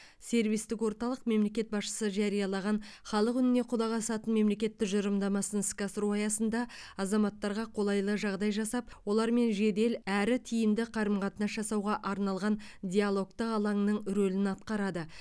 сервистік орталық мемлекет басшысы жариялаған халық үніне құлақ асатын мемлекет тұжырымдамасын іске асыру аясында азаматтарға қолайлы жағдай жасап олармен жедел әрі тиімді қарым қатынас жасауға арналған диалогтық алаңның рөлін атқарады